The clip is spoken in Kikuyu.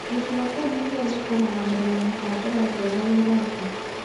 Gĩcigo kĩu nĩkĩo gĩkũrũgamĩrĩra mĩbango yothe ya wĩra ũcio